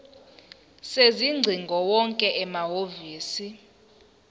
sezingcingo wonke amahhovisi